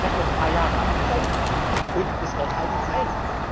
Wort! Ich habe noch ein paar Jahre Amtszeit, und das Wort halte ich